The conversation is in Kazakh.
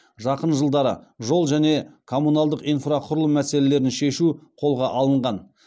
жақын жылдары жол және коммуналдық инфрақұрылым мәселелерін шешу қолға алынған